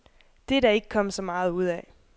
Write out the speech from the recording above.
Det er der ikke kommet så meget ud af.